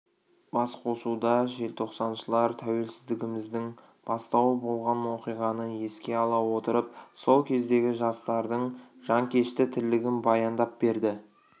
басқосуда желтоқсаншылар тәуелсіздігіміздің бастауы болған оқиғаны еске ала отырып сол кездегі жастардың жанкешті тірлігін баяндап берді